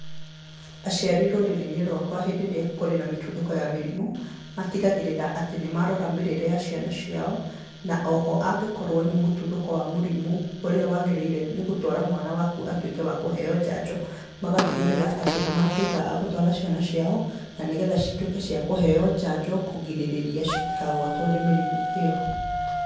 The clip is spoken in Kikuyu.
Aciari rũrĩrĩ-inĩ rwakwa hĩndĩ ĩrĩa kũrĩ na mĩtuthũko ya mĩrimĩ, matigagĩrĩra atĩ nĩ marora mĩrĩre ya ciana ciao, na o ho, angĩkorwo nĩ mũtuthũko wa mũrimũ ũrĩa waagĩrĩire nĩ gũtwara mwana waku atuĩke wa kũheo njanjo, magatigĩrĩra atĩ nĩ matuĩka a gũtwara ciana ciao, na nĩgetha cituĩke cia kũheo njanjo kũgirĩrĩria citikagwatwo nĩ mĩrimũ ĩyo.